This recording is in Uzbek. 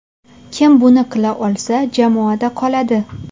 Kim buni qila olsa, jamoada qoladi.